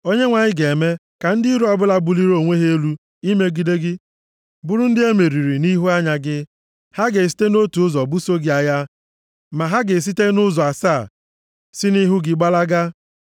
Onyenwe anyị ga-eme ka ndị iro ọbụla buliri onwe ha elu imegide gị bụrụ ndị e meriri nʼihu anya gị. Ha ga-esite nʼotu ụzọ buso gị agha, ma ha ga-esite nʼụzọ asaa si nʼihu gị gbalaga.